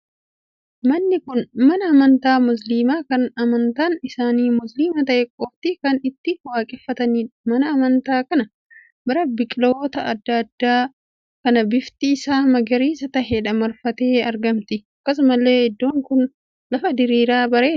Manni kun mana amantaa musilimaa kan amantaan isaanii musilimaa ta'e qoftii kana itti waaqeffatanidha mana amantaa kana bira biqiloota addaa addaa kan bifti isaa magariisa taheen marfamtee argamti. akkasumallee iddoon kun lafa diriiraa bareedaadha.